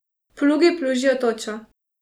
Plugi plužijo točo.